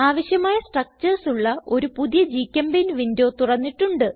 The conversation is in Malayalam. ആവശ്യമായ സ്ട്രക്ചർസ് ഉള്ള ഒരു പുതിയ ഗ്ചെമ്പെയിന്റ് വിൻഡോ തുറന്നിട്ടുണ്ട്